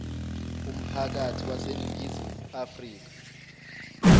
umphakathi waseningizimu afrika